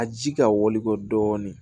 A ji ka wili kɔ dɔɔnin